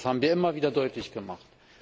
Das haben wir immer wieder deutlich gemacht.